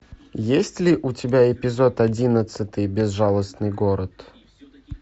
есть ли у тебя эпизод одиннадцатый безжалостный город